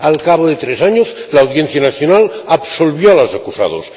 Al cabo de tres años, la Audiencia Nacional absolvió a los acusados.